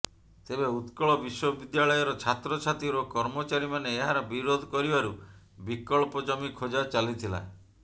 ତେବେ ଉତ୍କଳ ବିଶ୍ୱବିଦ୍ୟାଳୟର ଛାତ୍ରଛାତ୍ରୀ ଓ କର୍ମଚାରୀମାନେ ଏହାର ବିରୋଧ କରିବାରୁ ବିକଳ୍ପ ଜମି ଖୋଜା ଚାଲିଥିଲା